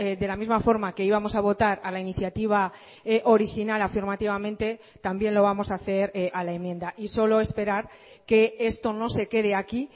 de la misma forma que íbamos a votar a la iniciativa original afirmativamente también lo vamos a hacer a la enmienda y solo esperar que esto no se quede aquí